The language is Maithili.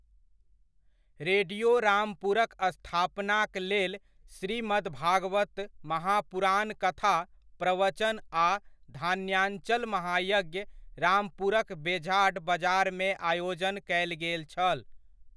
रेडियो रामपुरक स्थापनाक लेल श्रीमद् भागवत महापुराण कथा प्रवचन आ धान्यान् चल महायज्ञ रामपुरक बेझाड बजारमे आयोजन कयल गेल छल।